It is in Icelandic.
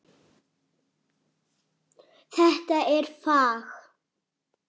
Þetta er fag.